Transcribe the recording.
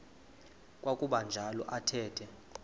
kwakuba njalo athetha